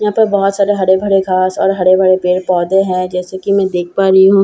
यहां पे बहोत सारे हरे भरे घास और हर भरे पेड़ पौधे है जैसे कि मैं देख पा रही हूं।